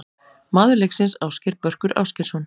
Maður leiksins: Ásgeir Börkur Ásgeirsson.